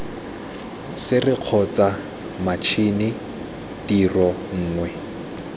sere kgotsa matšhini tiro nngwe